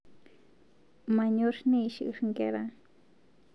Manyor neishir nkera